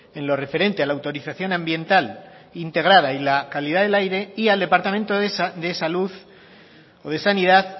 en lo referente a la autorización ambiental integrada y la calidad del aire y al departamento de salud o de sanidad